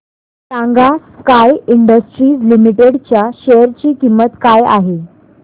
सांगा sky industries limited च्या share ची किंमत काय आहे